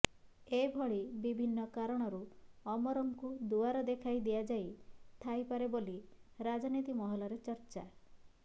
ଏଭଳି ବିଭିନ୍ନ କାରଣରୁ ଅମରଙ୍କୁ ଦୁଆର ଦେଖାଇ ଦିଆଯାଇ ଥାଇପାରେ ବୋଲି ରାଜନୀତି ମହଲରେ ଚର୍ଚ୍ଚା